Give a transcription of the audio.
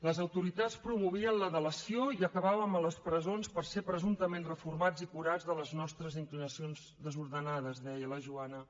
les autoritats promovien la delació i acabàvem a les presons per ser presumptament reformats i curats de les nostres inclinacions desordenades deia la joana